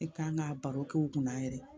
I kan ka baro kɛ u kunna yɛrɛ